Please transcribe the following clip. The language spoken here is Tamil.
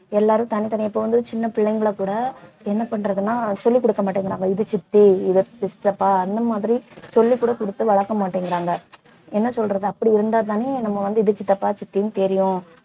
எல்லாரும் தனித்தனியா இப்ப வந்து சின்ன பிள்ளைங்களை கூட என்ன பண்றதுன்னா சொல்லிக் கொடுக்கமாட்டேங்கிறாங்க இது சித்தி இவர் சித்தப்பாஅந்த மாதிரி சொல்லி கூட கொடுத்து வளர்க்க மாட்டேங்கறாங்க என்ன சொல்றது அப்படி இருந்தால்தானே நம்ம வந்து இது சித்தப்பா சித்தின்னு தெரியும்